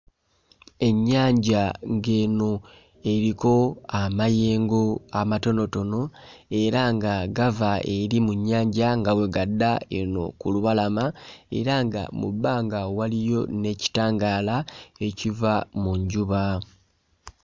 Ennyanja ng'eno eriko amayengo amatonotono era nga gava eri mu nnyanja nga bwe gadda eno ku lubalama era nga mu bbanga waliyo n'ekitangaala ekiva mu njuba.